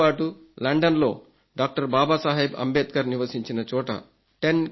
దీంతోపాటు లండన్లో డాక్టర్ బాబాసాహెబ్ అంబేద్కర్ నివసించిన చోట